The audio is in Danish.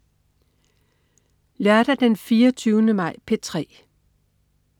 Lørdag den 24. maj - P3: